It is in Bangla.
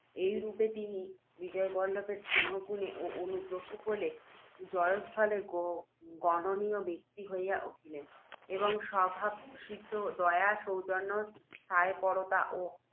এই রূপে তিনি, বিজয়বল্লভের স্নেহগুণে ও অনুগ্রহ বলে, জয়স্থলে গণনীয় ব্যক্তি হইয়া উঠিলেন, এবং স্বভাবসিদ্ধ দয়া, সৌজন্য, ন্যায়পরতা ও